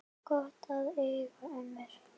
Gott að eiga ömmur!